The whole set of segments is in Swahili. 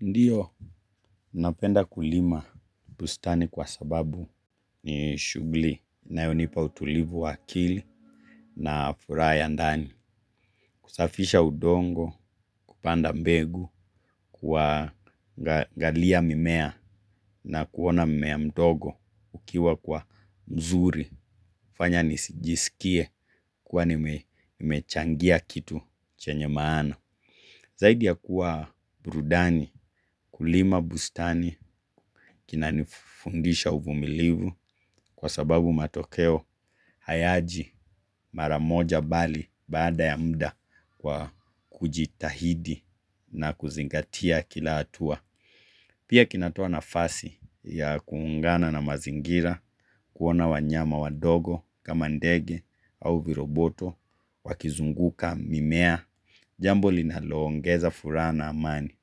Ndiyo napenda kulima bustani kwa sababu ni shughuli inayonipa utulivu wa akili na furaha ya ndani kusafisha udongo kupanda mbegu kuwa naangalia mimea na kuona mimea mdogo ukiwa kwa mzuri hufanya nisijisikie kuwa nimechangia kitu chenye maana zaidi ya kuwa burudani kulima bustani kina nifundisha uvumilivu kwa sababu matokeo hayaji mara moja bali baada ya muda kwa kujitahidi na kuzingatia kila atua. Pia kinatoa nafasi kuungan na mazingira kuona wanyama wadogo kama ndege au viroboto wakizunguka mimea jambo linaloongeza furaha na amani.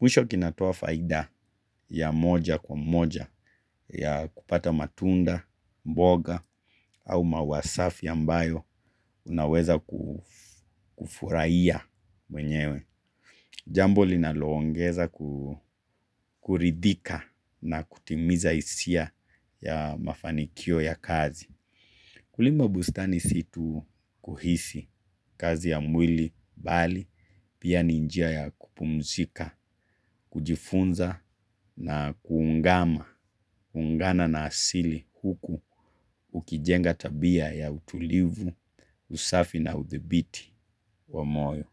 Mwisho kinatoa faida ya moja kwa moja ya kupata matunda, mboga au maua safi ambayo unaweza kufurahia mwenyewe. Jambo linaloongeza kuridhika na kutimiza hisia ya mafanikio ya kazi. Kulima bustani si tu kuhisi kazi ya mwili bali, pia ni njia ya kupumzika, kujifunza na kuungana, kuungana na asili huku ukijenga tabia ya utulivu, usafi na uthibiti wa moyo.